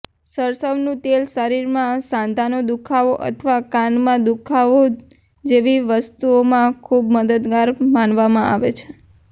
સરસવનું તેલ શરીરમાં સાંધાનો દુખાવો અથવા કાનમાં દુખાવો જેવી વસ્તુઓમાં ખૂબ મદદગાર માનવામાં આવે છે